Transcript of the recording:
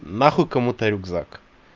нахуй кому-то рюкзак